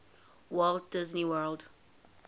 walt disney world